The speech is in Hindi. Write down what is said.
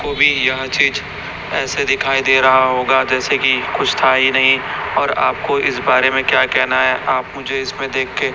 को भी यह चीज ऐसे दिखाई दे रहा होगा जैसे की कुछ था ही नहीं और आपको इस बारे में क्या कहना है आप मुझे इसमें देखके--